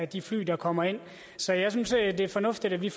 de fly der kommer ind så jeg synes det er fornuftigt at vi